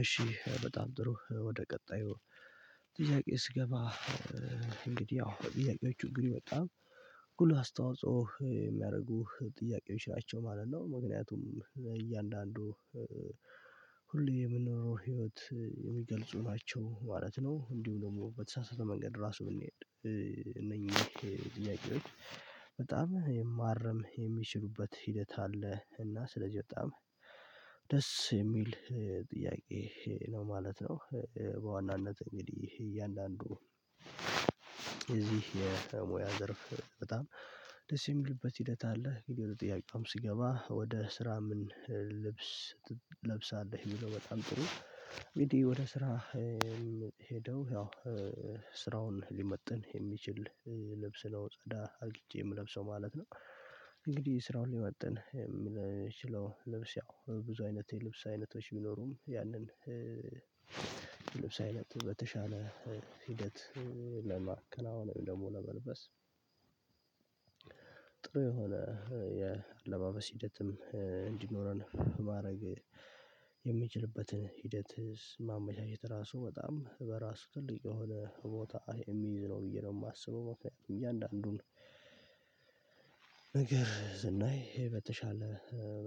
እሺ በጣም ጥሩ ወደ ቀጣዩ ጥያቄ ስገባ እንግዲህ አዎ ጥያቄዎቹ እንግዲህ በጣም ጉልህ አስተዋጾ የሚያደርጉ ጥያቄዎች ናቸው ማለት ነው። ምክንያቱም እያንዳንዱ ሁሌ የምንኖረው ህይወት የሚገልጹ ናቸው ማለት ነው። እንዲሁም ደግሞ በተሳሳተ መንገድ ራሱ ብንሄድ እነኚህ ጥያቄዎች በጣም የማረም የሚችሉበት ሂደት አለ እና ስለዚህ በጣም ደስ የሚል ጥያቄ ነው ማለት ነው። በዋናነት እንግዲህ እያንዳንዱ የዚህ የሙያ ዘርፍ በጣም ደስ የሚልበት ሂደት አለ ግን ወደ ጥያቄውም ስገባ ወደ ስራ ምን ልብስ ትለብሳለህ የሚለው በጣም ጥሩ እንግዲህ ወደ ስራ ሄደው ያው ስራውን ሊመጥን የሚችል ልብስ ነው ጸዳ አርግቼ የምለብሰው ማለት ነው። እንግዲህ ስራውን ሊመጥን የሚችለው ልብስ ያው ብዙ አይነት የልብስ አይነቶች ቢኖሩም ያንን ልብስ አይነት በተሻለ ሂደት ለማከናወን ውይም ደግሞ ለመልበስ ጥሩ የሆነ የአለባበስ ሂደትም እንዲኖረን ማድረግ የምንችልበትን ሂደት ማመቻቸት ራሱ በጣም በራሱ ትልቅ የሆነ ቦታ የሚይዝ ነው። ብዬ ነው የማስበው መስዋዕትም እያንዳንዱን ነገር ስናይ ይሄ በተሻለ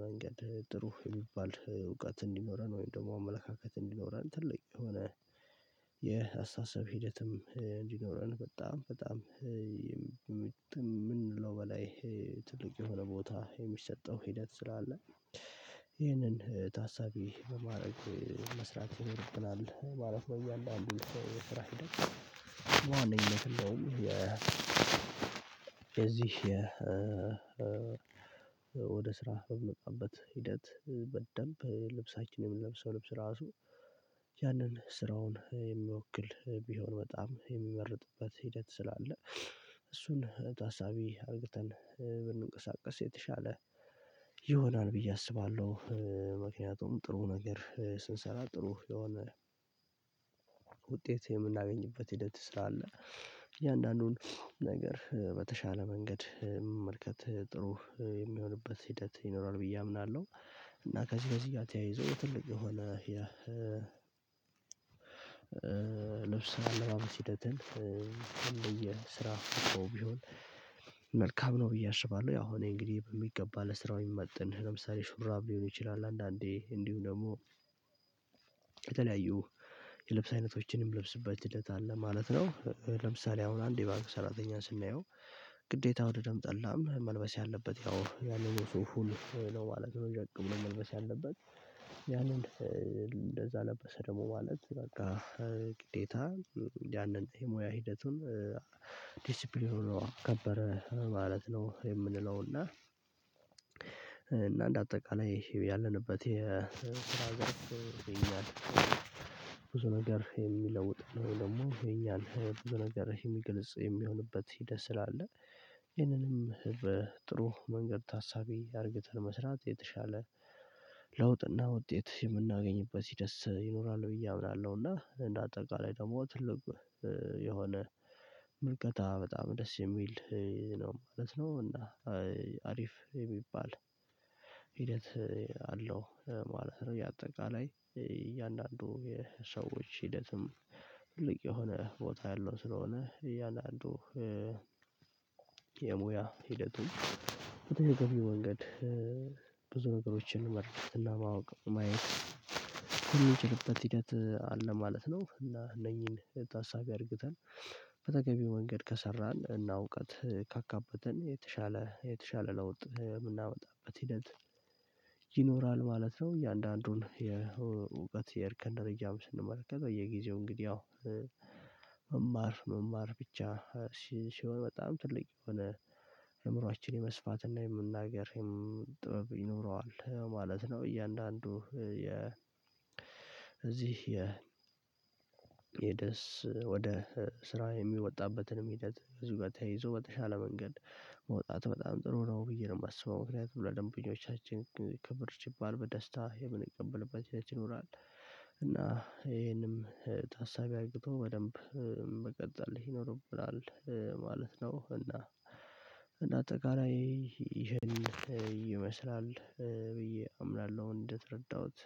መንገድ ጥሩ የሚባል እውቀት እንዲኖረን ወይም ደግሞ አመለካከት እንዲኖረን ትልቅ የሆነ የአስተሳሰብ ሂደትም እንዲኖረን በጣም በጣም ከምንለው በላይ ትልቅ የሆነ ቦታ የሚሰጠው ሂደት ስላለ ታሳቢ በማድረግ መስራት ይኖርብናል ማለት ነው። ያለው አንዱ ስራ የዚህ ወደ ስራ በምንመጣበት ሂደት በደንብ ልብሳችን የምንለብሰው ልብስ ራሱ ያንን ስራውን የሚወክል ቢሆን በጣም የሚመርጥበት ሂደት ስላለ እሱን ታሳቢ አድርገን ብንንቀሳቀስ የተሻለ ይሆናል ብዬ አስባለሁ። ምክንያቱም ጥሩ ነገር ስንሰራ ጥሩ የሆነ ውጤት የምናገኝበት ሂደት ስራ አለ እያንዳንዱን ነገር በተሻለ መንገድ መመልከት ጥሩ የሚሆንበት ሂደት ይኖራል ብዬ አምናለሁ እና ከዚህ ከዚህ ጋር ተያይዞ ትልቅ የሆነ የ ልብስ አለባበስ ሂደትን የስራ ቢሆን መልካም ነው ብዬ አስባለሁ። ያው እኔ እንግዲህ በሚገባ ለስራው የሚመጥን ለምሳሌ ሹራብ ሊሆን ይችላል አንዳንዴ እንዲሁም ደግሞ የተለያዩ የልብስ አይነቶችንም ምለብስበት ሂደት አለ ማለት ነው። ለምሳሌ አሁን አንድ የባንክ ሰራተኛን ስናየው ግዴታ ወደ ደም ጠላም መልበስ ያለበት ያው ያንን ሰው ሁሉ ለው ማለት ነው የመልበስ ያለበት ያንን እንደዛ ለበሰ ደግሞ ማለት በቃ ግዴታ ያንን የሙያ ሂደቱን ዲሲፕሊን ሆኖ አከበረ ማለት ነው። የምንለው እና እና እንደ አጠቃላይ ያለንበት ብዙ ነገር የሚለውጥ ነው ደግሞ የኛን ብዙ ነገር የሚገልጽ የሚሆንበት ሂደት ስላለ ይህንንም በጥሩ መንገድ ታሳቢ አድርገን መስራት የተሻለ ለውጥና ውጤት የምናገኝበት ሂደት ይኖራል ብዬ አምናለሁ። እና እንደ አጠቃላይ ደግሞ ትልቅ የሆነ ምልከታ በጣም ደስ የሚል ነው ማለት ነው እና አሪፍ የሚባል ሂደት አለው ማለት ነው። ያ አጠቃላይ እያንዳንዱ የሰዎች ሂደትም ትልቅ የሆነ ቦታ ያለው ስለሆነ እያንዳንዱ የሙያ ሂደቱን በተገቢው መንገድ ብዙ ነገሮችን ለማውቅ ማየት ምንችልበት ሂደት አለ ማለት ነው። እና እነኚን ታሳቢ አርግተን በተገቢው መንገድ ከሰራን እና እውቀት ካካበተን የተሻለ የተሻለ ለውጥ የምናመጣበት ሂደት ይኖራል ማለት ነው። እያንዳንዱን የእውቀት የርከን ደረጃም ስንመለከት በየጊዜው እንግዲህ ያው መማር ብቻ ሲሆን በጣም ትልቅ የሆነ አእምሮአችን የመስፋትና የመናገርም ጥበብ ይኖረዋል ማለት ነው። እያንዳንዱ የ እዚህ የደስ ወደ ስራ የሚወጣበትንም ሂደት እዚህ ጋር ተይዞ በተሻለ መንገድ መውጣት በጣም ጥሩ ነው ብዬ ነው የማስበው ምክንያቱም ለደንበኞቻችን ክብር ሲባል በደስታ የምንቀበልበት ህይወት ይኖራል እና ይሄንም ታሳቢ አርግቶ በደንብ መቀጠል ይኖርብናል ማለት ነው። እና እና አጠቃላይ ይሄን ይመስላል ብዬ አምላለሁ እንድትረዳሁት